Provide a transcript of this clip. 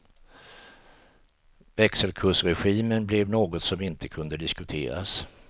Växelkursregimen blev något som inte kunde diskuteras.